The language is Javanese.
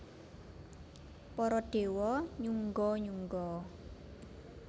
Para déwa nyungga nyungga